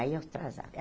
Aí eu atrasava.